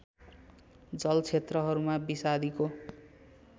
जलक्षेत्रहरूमा विषादीको